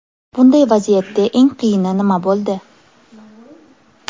Bunday vaziyatda eng qiyini nima bo‘ldi?